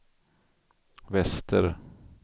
väster